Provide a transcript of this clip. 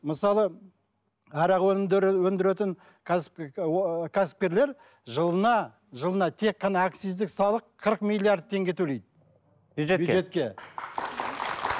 мысалы арақ өнімдерін өндіретін кәсіп кәсіпкерлер жылына жылына тек қана акциздік салық қырық миллиард теңге төлейді